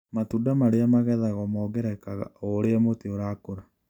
Matunda marĩa magethagwo mongererekaga oũrĩa mũtĩ ũrakũra.